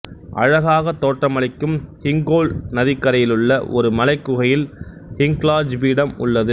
அழகாகத் தோற்றமளிக்கும் ஹிங்கோல் நதிக்கரையிலுள்ள ஒரு மலைக்குகையில் ஹிங்லாஜ் பீடம் உள்ளது